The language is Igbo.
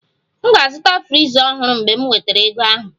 M ga-azụta friza ọhụrụ mgbe m nwetara ego ahụ